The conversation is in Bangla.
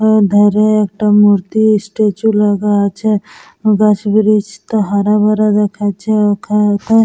এ ধারে একটা মূর্তি ই-স্ট্যাচু লাগা আছে বাঁশ ব্রিচ টা হরা ভরা দেখাচ্ছে ওখা ওখানে--